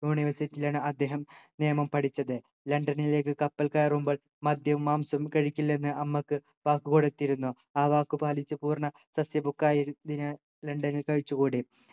university ലാണ് അദ്ദേഹം നിയമം പഠിച്ചത് ലണ്ടനിലേക്ക് കപ്പൽ കയറുമ്പോൾ മദ്യവും മാംസവും കഴിക്കില്ലെന്ന് അമ്മക്ക് വാക്ക് കൊടുത്തിരുന്നു ആ വാക്കുപാലിച്ചു പൂർണ സസ്യഭുക്കായി തിന് ലണ്ടനിൽ കഴിച്ചു കൂടി